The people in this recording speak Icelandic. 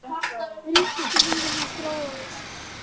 Ríkisstjórnin virðist ráðalaus